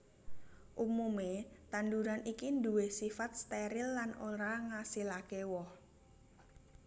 Umumé tanduran iki nduwé sifat steril lan ora ngasilaké woh